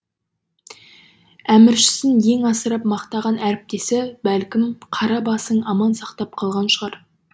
әміршісін ең асырып мақтаған әріптесі бәлкім қара басың аман сақтап қалған шығар